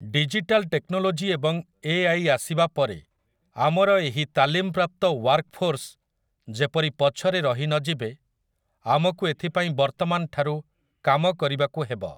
Digital technology ଏବଂ AI. ଆସିବା ପରେ ଆମର ଏହି ତାଲିମପ୍ରାପ୍ତ ୱାର୍କଫୋର୍ସ ଯେପରି ପଛରେ ରହିନଯିବେ, ଆମକୁ ଏଥିପାଇଁ ବର୍ତ୍ତମାନ ଠାରୁ କାମ କରିବାକୁ ହେବ ।